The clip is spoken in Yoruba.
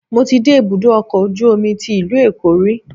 Mo ti dé ibùdó ọkọ̀ ojú omi tí ìlú Èkó rí.